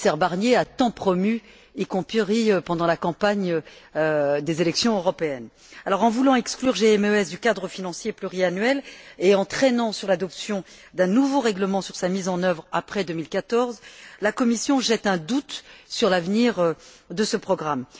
le commissaire Barnier a tant promue, y compris pendant la campagne des élections européennes. En voulant exclure GMES du cadre financier pluriannuel et en traînant sur l'adoption d'un nouveau règlement sur sa mise en œuvre après 2014, la Commission jette un doute sur l'avenir de ce programme.